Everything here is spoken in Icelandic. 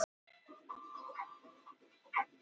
Það getur þá verið hluti af eðli hans.